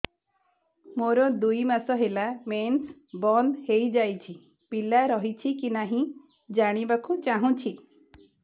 ମୋର ଦୁଇ ମାସ ହେଲା ମେନ୍ସ ବନ୍ଦ ହେଇ ଯାଇଛି ପିଲା ରହିଛି କି ନାହିଁ ଜାଣିବା କୁ ଚାହୁଁଛି